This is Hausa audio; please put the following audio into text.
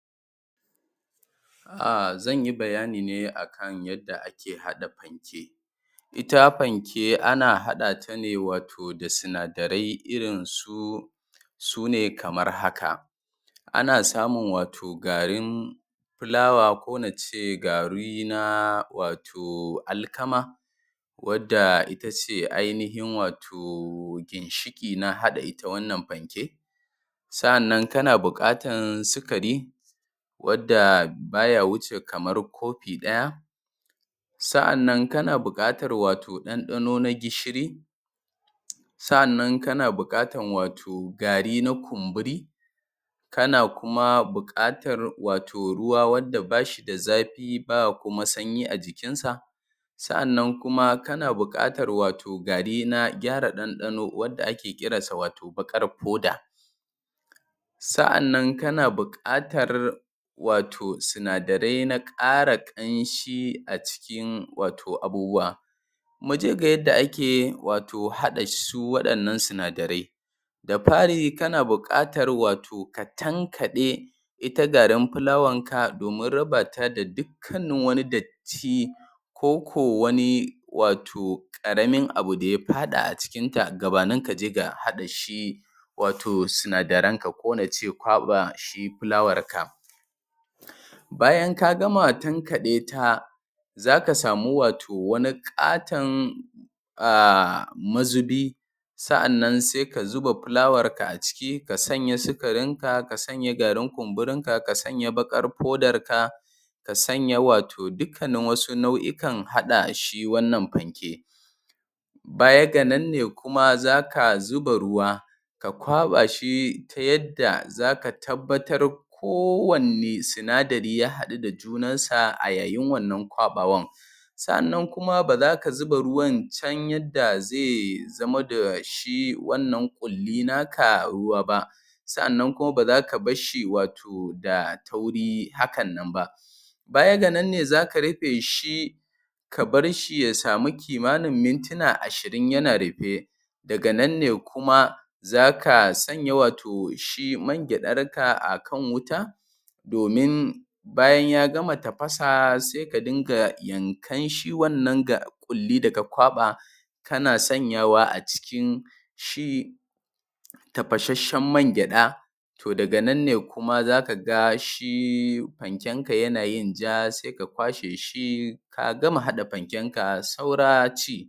ahh zan yi bayani ne akan yadda ake hada panke ita panke ana hadata ne wato da sinadarai irin su sune kamar haka ana samu wato garin garin fulawa ko nace gari na wato wato alkama wanda itace ainihin wato ginshiki na hada ita wannan panke sa'annan kana buqatan sukari wanda baya wuce kamar kofi daya sa'annan kana buqatan wato dandano na gishiri sa'annan kana buqatan wato gari na kumburi kana kuma buqatar wato ruwa wanda bashi da zafi ba kuma sanyi a jikinsa sa'annan kuma kana buqatar wato gari gari na gyara dandano wato wanda ake kiransa baqar poda sa'annan kana buqatar sinadarai na kara sinadarai na kara kanshi wato a cikin abubuwa muje ga yadda ake hada su wadannan sinadarai da fari kana buqatar wato ka tankade ita garin fulawanka domin rabata da dukkanin dukkanin wani datti ti ko ko wani wato karamin abu da ya fada a cikin ta gabanin kaje ga hada shi wato sinadaran ka ko nace kwaba shi fulawanka? bayan ka gama tankadeta zaka samu wato wani katon aaaaah mazubi sa'annan sai ka zuba fula warka a ciki a sanya sukarinka ka sanya garin kumburinka ka sanya baqar podanka ka sanya wato dukannin wasu nau'ikan hada shi wannan panke baya ga nan ne kuma zaka zuba ruwa ka kwaba shi ta yadda zaka tabbatar kowanni sinadir yahadu da junansa ayayin wannan kwaba wan sa'annan kuma baza ka zuba ruwan chan yadda zai zama dashi wannan kulli naka ruwa ba sa'annan kuma baza ka barshi wato da tauri hakan nan ba baya ga nan ne zaka rufeshi ka barshi ya samu kimanin mintuna ashirin yana rufe daga nan kuma zaka sanya wato shi man gyadarka a kan wuta domin bayan ya gama tafasa sai ka dunga yankan shi wannan kulli kulli da ka kwaba kana sanyawa a cikin shi tafasasshen man gyada to daga nan ne kuma zaka ga shi panken ka yana yin ja sai ka kwashe shi ka gama hada pankenka saura ci